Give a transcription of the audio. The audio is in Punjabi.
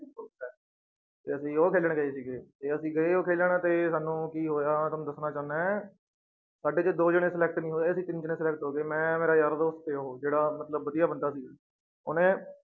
ਤੇ ਅਸੀਂ ਉਹ ਖੇਲਣ ਗਏ ਸੀਗੇ ਤੇ ਅਸੀਂ ਗਏ ਉਹ ਖੇਲਣ ਤੇ ਸਾਨੂੰ ਕੀ ਹੋਇਆ ਤੁਹਾਨੂੰ ਦੱਸਣਾ ਚਾਹੁਨਾ ਹੈ ਸਾਡੇ ਚੋਂ ਦੋ ਜਾਣੇ select ਨੀ ਹੋਏ ਅਸੀਂ ਤਿੰਨ ਜਾਣੇ select ਹੋ ਗਏ, ਮੈਂ ਮੇਰਾ ਯਾਰ ਦੋਸਤ ਤੇ ਉਹ ਜਿਹੜਾ ਮਤਲਬ ਵਧੀਆ ਬੰਦਾ ਸੀ, ਉਹਨੇ